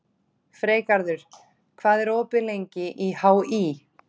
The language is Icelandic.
Freygarður, hvað er opið lengi í HÍ?